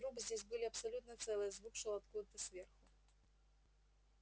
но трубы здесь были абсолютно целые звук шёл откуда-то сверху